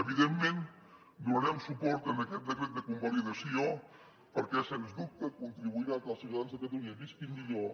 evidentment donarem suport a aquest decret de convalidació perquè sens dubte contribuirà que els ciutadans de catalunya visquin millor